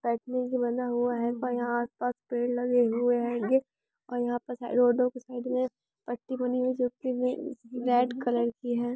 यहां एक रोड है और यहां पर साइड पर कुआं बना हुआ है सामने कुछ पेड़ बना हुए ह रेड कलर कि है ।